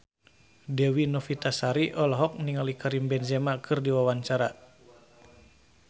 Dewi Novitasari olohok ningali Karim Benzema keur diwawancara